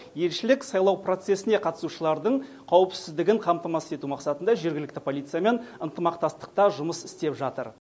елшілік сайлау процесіне қатысушылардың қауіпсіздігін қамтамасыз ету мақсатында жергілікті полициямен ынтымақтастықта жұмыс істеп жатыр